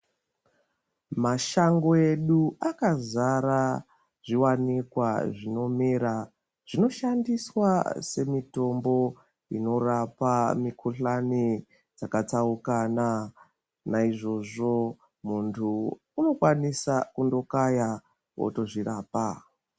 Mashango edu akazara zviwanikwa zvinomera zvoshandiswa semutombo unorapa miKuhlani dzakatsaukana naizvozvo muntu unokwanisa kundokaya otozvirapa.